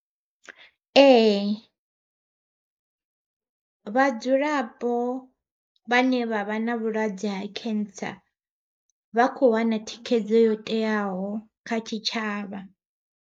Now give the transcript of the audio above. Ee vhadzulapo vhane vha vha na vhulwadze ha Cancer, vha kho wana thikhedzo yo teaho kha tshitshavha.